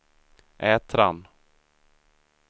Ätran